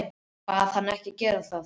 Bað hann að gera það ekki.